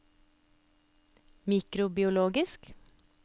mikrobiologisk